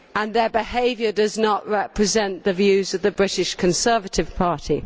Their behaviour does not represent the views of the British Conservative Party.